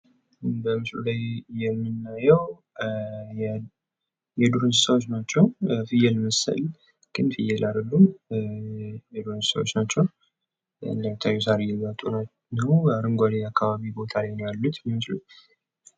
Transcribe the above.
በምስሉ ላይ የምናየው የዱር እንስሳቶች ናቸው። ግን ፍየል አይደሉም። የዱር እንስሳዎች ናቸው። እንደሚታየው ሳር እየጋጡ ነው። አረንጓዴ አካባቢ ቦታ ላይ ነው ያሉት።